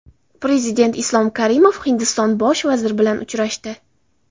Prezident Islom Karimov Hindiston Bosh vaziri bilan uchrashdi.